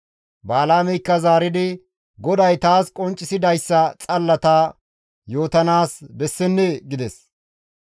Balaameykka zaaridi, «GODAY taas qonccisidayssa xalla ta yootanaas bessennee?» gides.